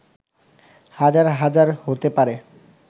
হাজার হাজার হতে পারে